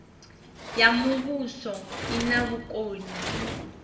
ya muvhuso i na vhukoni